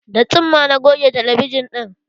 Da tsumma na goge talabijan ɗin